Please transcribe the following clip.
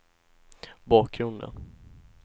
bakgrunden